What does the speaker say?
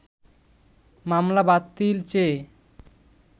মামলা বাতিল চেয়ে